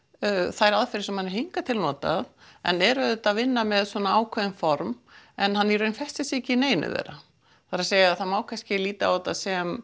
þær aðferðir sem hann hingað til notað en er auðvitað að vinna með ákveðin form en hann í raun festir sig ekki í neinu þeirra það er að segja það má kannski líta á þetta sem